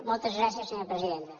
moltes gràcies senyora presidenta